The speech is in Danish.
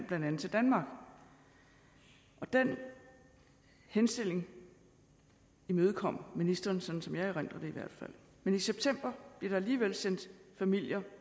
blandt andet danmark den henstilling imødekom ministeren sådan som jeg erindrer det men i september blev der alligevel sendt en familie